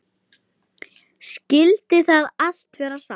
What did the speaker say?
Skyldi það allt vera satt?